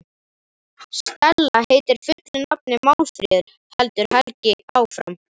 Stella heitir fullu nafni Málfríður, heldur Helgi áfram.